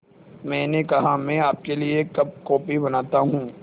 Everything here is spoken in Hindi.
मैंने कहा मैं आपके लिए एक कप कॉफ़ी बनाता हूँ